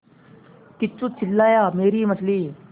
किच्चू चिल्लाया मेरी मछली